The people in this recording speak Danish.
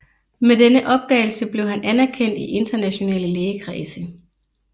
Med denne opdagelse blev han anerkendt i internationale lægekredse